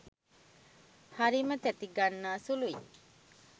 හරිම තැති ගන්නා සුළුයි.